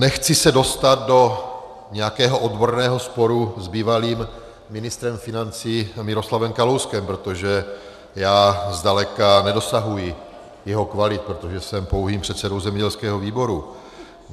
Nechci se dostat do nějakého odborného sporu s bývalým ministrem financí Miroslavem Kalouskem, protože já zdaleka nedosahuji jeho kvalit, protože jsem pouhým předsedou zemědělského výboru.